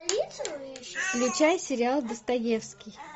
включай сериал достоевский